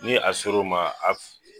Ni a sor'o ma